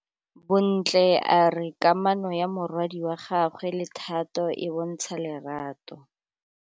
Bontle a re kamanô ya morwadi wa gagwe le Thato e bontsha lerato.